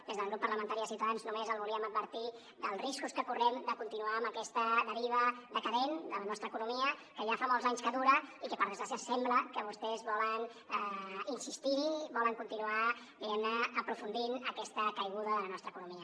des del grup parlamentari de ciutadans només el volíem advertir dels riscos que correm de continuar en aquesta deriva decadent de la nostra economia que ja fa molts anys que dura i que per desgràcia sembla que vostès volen insistir hi volen continuar diguem ne aprofundint en aquesta caiguda de la nostra economia